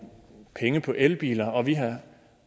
penge på elbiler og vi har